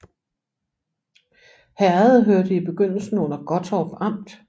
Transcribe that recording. Herredet hørte i begyndelsen under Gottorp Amt